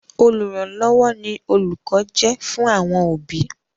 Olùrànlọ́wọ́ ni òlùkọ́ jẹ́ fún àwọn òbí.